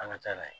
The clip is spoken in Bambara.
An ka taa n'a ye